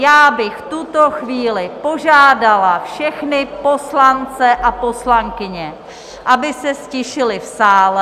Já bych v tuto chvíli požádala všechny poslance a poslankyně, aby se ztišili v sále!